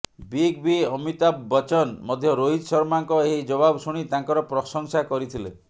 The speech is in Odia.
ବିଗ ବି ଅମିତାଭ ବଚ୍ଚନ ମଧ୍ୟ ରୋହିତ ଶର୍ମାଙ୍କ ଏହି ଜବାବ ଶୁଣି ତାଙ୍କର ପ୍ରଶଂସା କରିଥିଲେ